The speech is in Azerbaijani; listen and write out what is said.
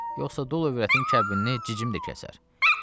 Yoxsa dul övrətin kəbinini cicim də kəsər.